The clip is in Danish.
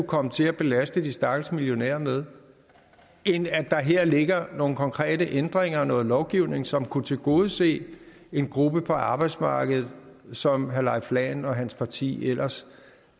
komme til at belaste de stakkels millionærer med end at der her ligger nogle konkrete ændringer og noget lovgivning som kunne tilgodese en gruppe på arbejdsmarkedet som herre leif lahn jensen og hans parti ellers